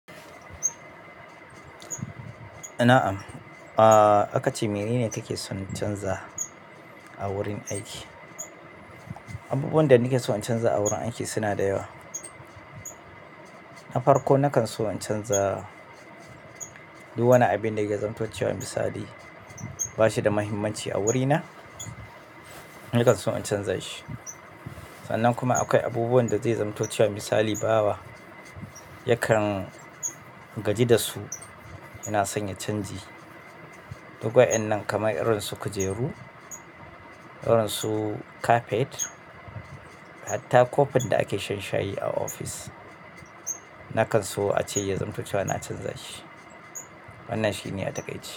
Na'am. Ahhh, akace manene kake son canza a wurin aiki. Abubuwan da nake so in canza a wurin aiki suna da yawa. Na farko, nakan so in canza duk wani abin da ya zamto cewa misali ba shi da muhimmanci a wurina, nakan so in canza shi. Sannan kuma akwai abubuwan da zai zamto cewar misali bawa, yakan gaji da su. Ina son ya canji. Duk wa'innan kamar irin su kujeru, irin su kafet, hatta kofin da ake shanshayi a ofis. Nakan so ace ya zamto cewa na canza shi. Wannan shine a taƙaice.